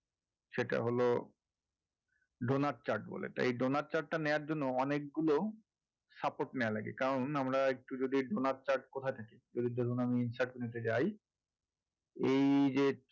সেটা হলো donut chart বলে তো এই donut chart টা নেওয়ার জন্য অনেকগুলো support নেওয়া লাগে কারণ আমরা একটু যদি এই donut chart কোথায় থাকে যদি দেখুন আমি insert নিতে যাই এই যে